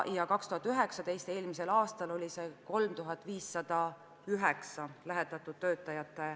2019., eelmisel aastal oli 3509 lähetatud töötajat.